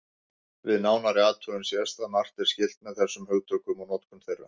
Við nánari athugun sést að margt er skylt með þessum hugtökum og notkun þeirra.